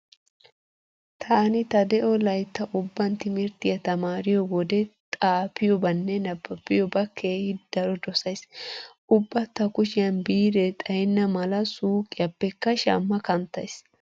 Taani ta de'o laytta ubban timirttiya tamaariyo wode xaafiyobanne nabbabiyoba keehi daro dosays. Ubba ta kushiyan biirree xayenna malaa suuqiyappekka shamma kanttays.